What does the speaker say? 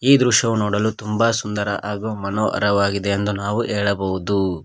ಈ ದೃಶ್ಯವು ನೋಡಲು ತುಂಬ ಸುಂದರ ಹಾಗು ಮನೋಹರವಾಗಿದೆ ಎಂದು ನಾವು ಹೇಳಬಹುದು.